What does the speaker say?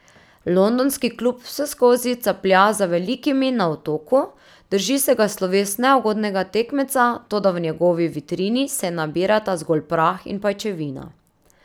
Londonski klub vseskozi caplja za velikimi na Otoku, drži se ga sloves neugodnega tekmeca, toda v njegovi vitrini se nabirata zgolj prah in pajčevina.